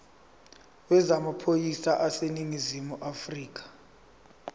yezamaphoyisa aseningizimu afrika